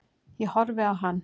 Ég horfði á hann.